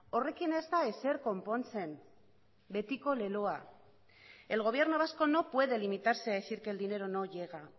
horrekin ez da ezer konpontzen betiko leloa el gobierno vasco no puede limitarse a decir que el dinero no llega